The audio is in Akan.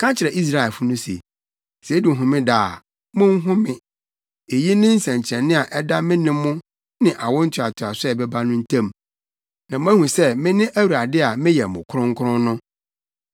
“Ka kyerɛ Israelfo no se, ‘Sɛ edu Homeda a, monhome. Eyi ne nsɛnkyerɛnne a ɛda me ne mo ne awo ntoatoaso a ɛbɛba no ntam, na moahu sɛ mene Awurade a meyɛ mo kronkron no.’